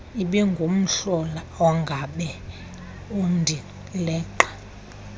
ibingumhlola ongabe undileqa